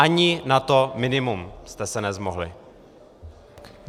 Ani na to minimum jste se nezmohli.